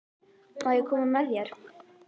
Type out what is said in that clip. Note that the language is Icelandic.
Má ég koma með þér?